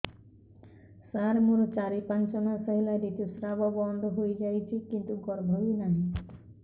ସାର ମୋର ଚାରି ପାଞ୍ଚ ମାସ ହେଲା ଋତୁସ୍ରାବ ବନ୍ଦ ହେଇଯାଇଛି କିନ୍ତୁ ଗର୍ଭ ବି ନାହିଁ